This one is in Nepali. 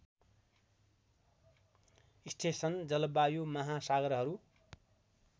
स्टेसन जलवायु महासागरहरू